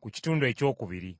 mu kitundu ekyokubiri.